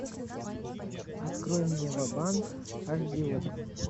открой мне ва банк аш ди окко